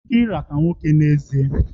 Ị nwere ike ịrata nwoke n'ezie?